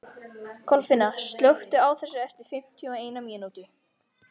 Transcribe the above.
Kolfinna, slökktu á þessu eftir fimmtíu og eina mínútur.